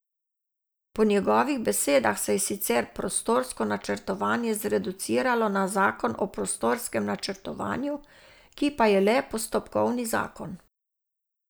Po njegovih besedah se je sicer prostorsko načrtovanje zreduciralo na zakon o prostorskem načrtovanju, ki pa je le postopkovni zakon.